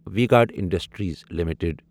V Guard Industries limited